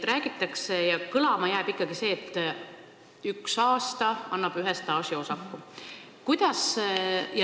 Räägitakse ja kõlama jääb ikkagi see, et üks aasta annab ühe staažiosaku.